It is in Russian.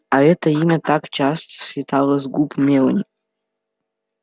а это имя так часто слетало с губ мелани